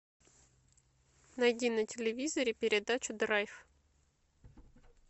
найди на телевизоре передачу драйв